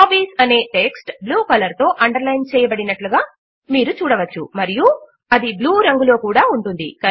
hobbies అనే text blue colour తో underline చేయబడినట్లుగా మీరు చూడవచ్చు మరియు అది బ్లూ రంగులో కూడా ఉంటుంది